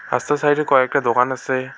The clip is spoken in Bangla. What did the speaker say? রাস্তার সাইডে কয়েকটা দোকান আসে ।